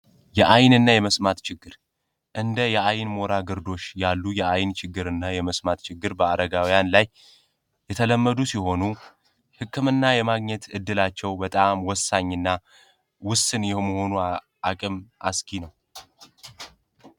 አይን ሞራ ግርዶሽ ያሉ የአይን ችግር እና የመስማት ችግር በአረጋውያን ላይ የተለመዱ ሲሆኑ ህክምና የማግኘት እድላቸው በጣም ወሳኝና ውስን የመሆኗ አቅም አስጊ ነው።